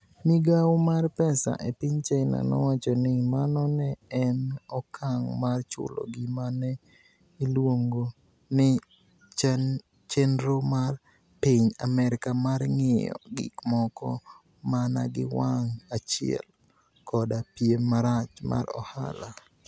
Migawo mar pesa e piniy Chinia nowacho nii, mano ni e eni okanig ' mar chulo gima ni e iluonigo nii, cheniro mar piniy Amerka mar nig'iyo gik moko mania gi wanig ' achiel, koda piem marach mar ohala.